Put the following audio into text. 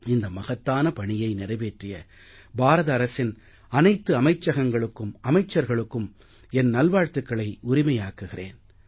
இந்த மகத்தான பணியை நிறைவேற்றிய பாரத அரசின் அனைத்து அமைச்சகங்களுக்கும் அமைச்சர்களுக்கும் என் நல்வாழ்த்துக்களை உரிமையாக்குகிறேன்